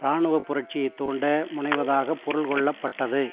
இராணுவ புரட்சியைத் தூண்ட முனைவதாகப் பொருள் கொள்ளப்பட்டது